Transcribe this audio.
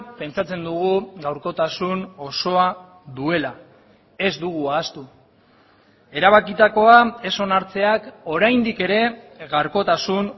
pentsatzen dugu gaurkotasun osoa duela ez dugu ahaztu erabakitakoa ez onartzeak oraindik ere gaurkotasun